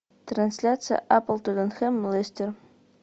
трансляция апл тоттенхэм лестер